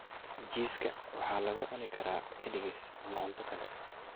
Jiiska waxaa lagu cuni karaa kaligiis ama cunto kale.